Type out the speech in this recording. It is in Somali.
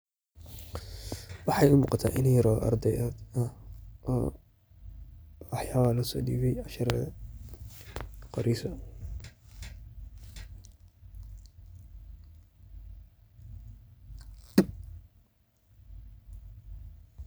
Waxaa igamuqata inan yar oo ardey ah waxyaabaha losodibey cashiradha qoreyso.